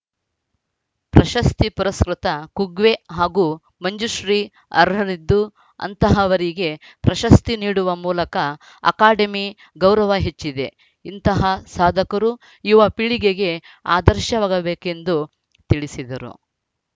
ಪ್ರಶಸ್ತಿ ಪುರಸ್ಕೃತ ಕುಗ್ವೆ ಹಾಗೂ ಮಂಜುಶ್ರೀ ಅರ್ಹರಿದ್ದು ಅಂತಹವರಿಗೆ ಪ್ರಶಸ್ತಿ ನೀಡುವ ಮೂಲಕ ಅಕಾಡೆಮಿ ಗೌರವ ಹೆಚ್ಚಿದೆ ಇಂತಹ ಸಾಧಕರು ಯುವ ಪೀಳಿಗೆಗೆ ಆದರ್ಶವಾಗಬೇಕೆಂದು ತಿಳಿಸಿದರು